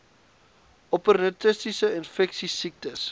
opportunistiese infeksies siektes